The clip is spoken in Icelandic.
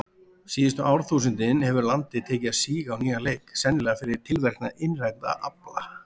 Síðustu árþúsundin hefur landið tekið að síga á nýjan leik, sennilega fyrir tilverknað innrænna afla.